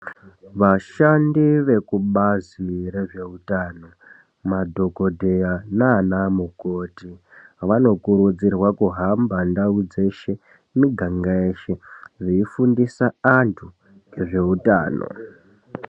Vashandi vekubazi rezveutano madhokodheya nanamukoti vanokurudzirwa kuhamba ndau dzeshe miganga yeshe veifundisa antu ngezveutano.